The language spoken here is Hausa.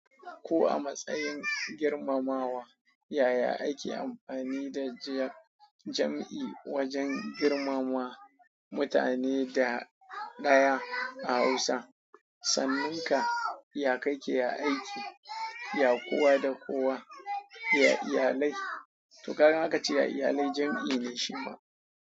Ko a matsayin girmamawa, yaya ake amfani da jam'i wajen girmama mutane da ɗaya a Hausa? Sannun ka, ya kake aiki, ya kowa da kowa, ya iyalai, to kaga in aka ce ya iyalai jam'i ne shi ma.